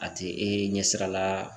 A tɛ e ɲɛsira la